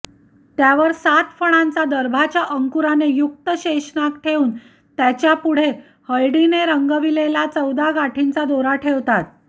त्यावर सात फणांचा दर्भाच्या अंकुराने युक्त शेषनाग ठेवून त्याच्यापुढे हळदीने रंगविलेला चौदा गाठींचा दोरा ठेवतात